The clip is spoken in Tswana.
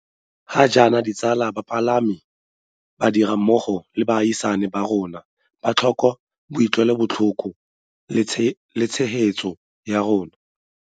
Ga jaana, ditsala, bamalapa, badirammogo le baagisani ba rona ba tlhoka boutlwelobotlhoko le tshegetso ya rona.